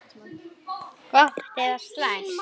Gott eða slæmt?